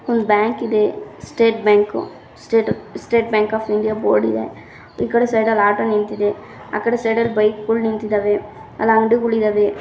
ಒಂದು ಬ್ಯಾಂಕ್‌ ಇದೆ state bank state state bank of India board ಇದೆ ಈ ಕಡೆ ಸೈಡ್‌ ಅಲ್ ಆಟೋ ನಿಂತಿದೆ ಆ ಕಡೆ ಸೈಡ್‌ ಅಲ್ ಬೈಕ್‌ ಗೊಳ್ ನಿಂತಿದಾವೆ ಅಲ್ ಅಂಗಡಿಗಳು ಇದಾವೆ.